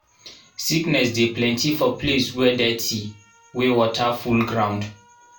sickness dey plenty for place wey dirty wey water full ground